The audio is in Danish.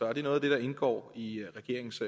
er det noget af det der indgår i regeringens